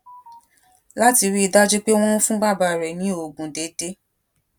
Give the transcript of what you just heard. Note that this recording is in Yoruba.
láti rí i dájú pé wón ń fún bàbá rè ní oògùn déédéé